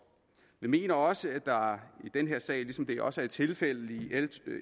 vi mener også at der i den her sag ligesom det også er tilfældet i l